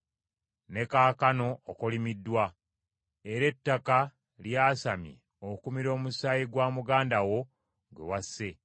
Ne kaakano okolimiddwa, era ettaka lyasamye okumira omusaayi gwa muganda wo gwe wasse.